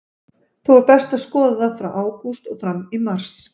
Þó er best að skoða það frá ágúst og fram í mars.